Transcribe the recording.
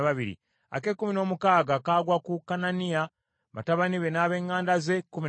ak’ekkumi n’omusanvu kagwa ku Yosubekasa, batabani be n’ab’eŋŋanda ze, kkumi na babiri;